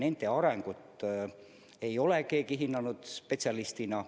Nende arengut ei ole keegi spetsialistina hinnanud.